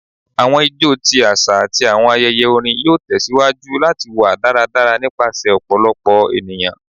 Awọn ijó ti aṣa ati awọn ayẹyẹ orin yoo tẹsiwaju lati wa daradara nipasẹ ọpọlọpọ eniyan